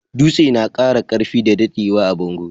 Dutse na kara karfi da daddewa a bango.